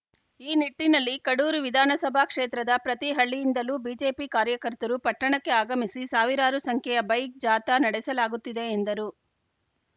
ಈ ನಿಟ್ಟಿನಲ್ಲಿ ಕಡೂರು ವಿಧಾನಸಭಾ ಕ್ಷೇತ್ರದ ಪ್ರತಿ ಹಳ್ಳಿಯಿಂದಲೂ ಬಿಜೆಪಿ ಕಾರ್ಯಕರ್ತರು ಪಟ್ಟಣಕ್ಕೆ ಆಗಮಿಸಿ ಸಾವಿರಾರು ಸಂಖ್ಯೆಯ ಬೈಕ್‌ ಜಾಥಾ ನಡೆಸಲಾಗುತ್ತಿದೆ ಎಂದರು